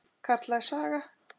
Karllæg saga?